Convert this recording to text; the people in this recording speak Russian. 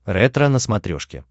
ретро на смотрешке